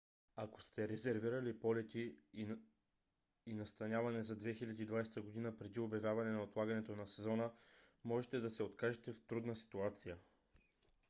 ако сте резервирали полети и настаняване за 2020 г. преди обявяване на отлагането на сезона може да се окажете в трудна ситуация